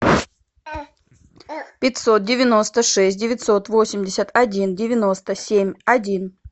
пятьсот девяносто шесть девятьсот восемьдесят один девяносто семь один